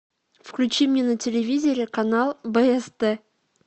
включи мне на телевизоре канал бст